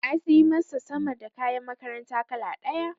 Na sai masa sama da kayan makaranta kala ɗaya.